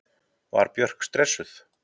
Var Björk stressuð?